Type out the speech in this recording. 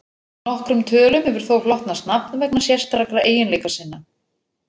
Nokkrum tölum hefur þó hlotnast nafn vegna sérstakra eiginleika sinna.